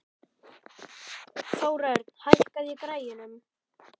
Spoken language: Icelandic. Þórörn, hækkaðu í græjunum.